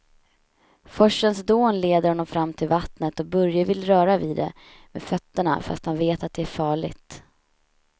Forsens dån leder honom fram till vattnet och Börje vill röra vid det med fötterna, fast han vet att det är farligt.